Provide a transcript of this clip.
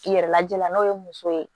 I yɛrɛ lajɛ la n'o ye muso ye